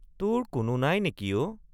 তোৰ কোনো নাই নেকি অ?